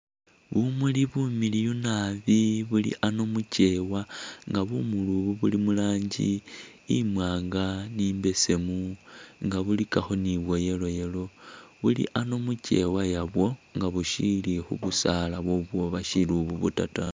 Bumuli bumiliyu nabbi buli ano mukyewa nga bumuli ubu buli muranji imwanga ni imbesemu nga bulikakho ni bwa yellow yellow ,buli ano mukyewa yabwo nga bushili khu'busaala bwobwo bashili ububuta ta